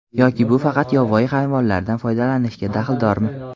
Yoki bu faqat yovvoyi hayvonlardan foydalanishga daxldormi?